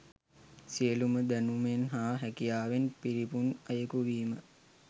සියලුම දැනුමෙන් හා හැකියාවෙන් පිරිපුන් අයකු වීම